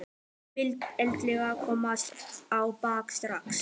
Hún vill endilega komast á bak strax.